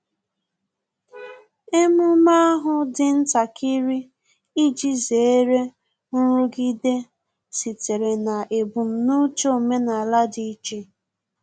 Emume ahu dị ntakịrị iji zere nrụgide sitere na ebum n'uche omenala dị iche